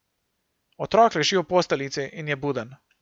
Otrok leži v posteljici in je buden.